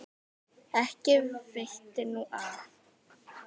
Ekki veitti nú af.